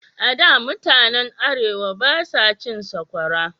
A da, mutanen Arewa ba sa cin saƙwara.